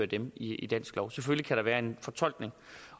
dem i dansk lov selvfølgelig være en fortolkning